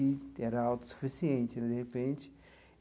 Era autossuficiente, e de repente.